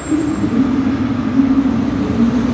इस बैंक का गेट अभी बंद है।